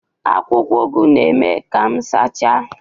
Akwụkwọ Ugu na-eme ka m sachaa